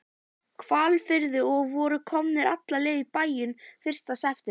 Hvalfirði og voru komnir alla leið í bæinn fyrsta september.